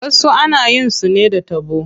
Wasu ana yin su ne da taɓo.